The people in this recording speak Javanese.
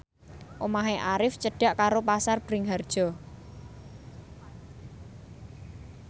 omahe Arif cedhak karo Pasar Bringharjo